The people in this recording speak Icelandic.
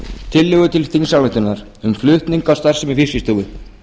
tillögu til þingsályktunar um flutning á starfsemi fiskistofu